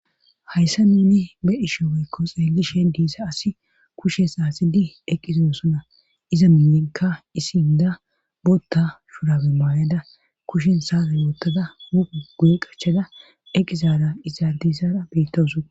hayssa ninni be ishe weykko xeelishe diissa asi kushe saasidi eqqizosona iza minnikka isiinda bootta shurabe maayada kushen saara yoottada mupu guye qachada eqizara izardisara bettowuso